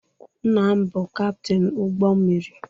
Nna m bụ Kaptin ụgbọ mmiri.